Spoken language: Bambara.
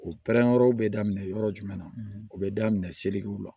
O pɛrɛn yɔrɔ bɛ daminɛ yɔrɔ jumɛn na o bɛ daminɛ selikiw la